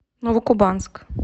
новокубанск